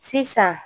Sisan